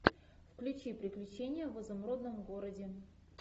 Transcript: включи приключения в изумрудном городе